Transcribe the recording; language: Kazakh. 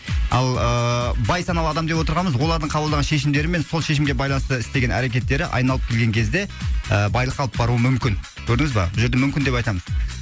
ал ыыы бай саналы адам деп отырғанымыз олардың қабылдаған шешімдері мен сол шешімге байланысты істеген әрекеттері айналып келген кезде ы байлыққа алып баруы мүмкін көрдіңіз ба бұл жерде мүмкін деп айтамын